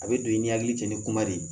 A bɛ don i ni hakili cɛ ni kuma de ye